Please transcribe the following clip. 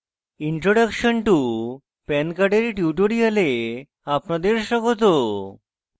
introduction to pan card এর tutorial আপনাদের স্বাগত